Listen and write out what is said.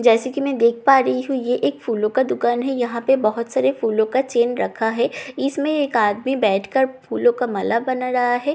जैसे कि मैं देख पा रही हूं ये एक फूलों का दुकान है यहां पे बहुत सारे फूलों का चेन रखा है इसमें एक आदमी बैठकर फूलों का माला बना रहा है सामने --